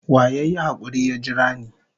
Wa ya yi hakuri ya jira ni?